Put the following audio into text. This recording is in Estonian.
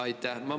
Aitäh!